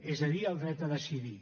és a dir el dret a decidir